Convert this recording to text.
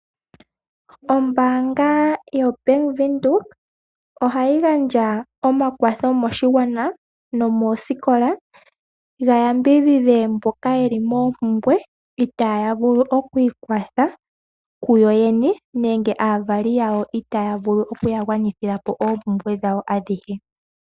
Ombaanga yo Bank Windhoek ohayi gandja omakwatho moshigwana nomoosikola ga yambidhidhe mboka ye li moompumbwe itaaya vulu oku ikwatha kuyo yene. Nenge aavali yawo itaaya vulu oku ya gwanithila po oompumbwe dhawo adhihe.